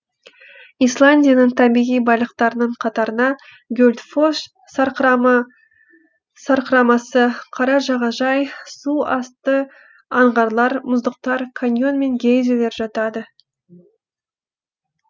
исландияның табиғи байлықтарының қатарына гюдльфосс сарқырамасы қара жағажай су асты аңғарлары мұздықтар каньон мен гейзерлер жатады